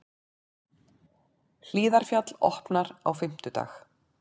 Hlíðarfjall opnar á fimmtudag